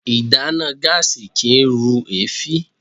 Ìdáná gáàsì kìí rú èéfín.